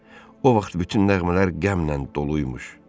O vaxt bütün nəğmələr qəmlə doluymuş.